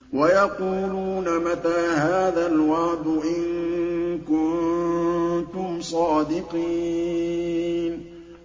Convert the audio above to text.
وَيَقُولُونَ مَتَىٰ هَٰذَا الْوَعْدُ إِن كُنتُمْ صَادِقِينَ